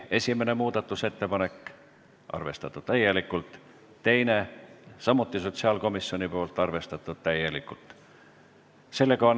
Esimene muudatusettepanek, arvestatud täielikult, teine, samuti sotsiaalkomisjonilt ja arvestatud täielikult.